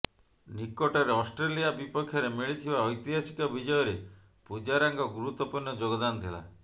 ନିକଟରେ ଅଷ୍ଟ୍ରେଲିଆ ବିପକ୍ଷରେ ମିଳିଥିବା ଐତିହାସିକ ବିଜୟରେ ପୂଜାରାଙ୍କ ଗୁରୁତ୍ୱପୂର୍ଣ୍ଣ ଯୋଗଦାନ ଥିଲା